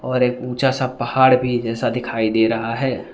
और एक ऊंचा सा पहाड़ भी जैसा दिखाई दे रहा है।